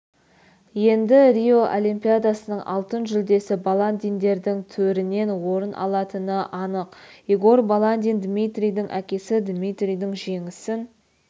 енді рио олимпиадасының алтын жүлдесі баландиндердің төрінен орын алатыны анық игорь баландин дмитрийдің әкесі дмитрийдің жеңісін